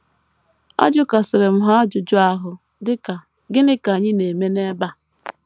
Ajụkasịrị m ha ajụjụ ahụ, dị ka, ‘ Gịnị ka anyị na - eme n’ebe a ?'.